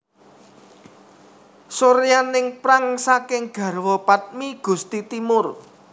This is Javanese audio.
Suryaningprang saking garwa padmi Gusti Timur